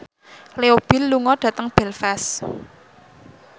Leo Bill lunga dhateng Belfast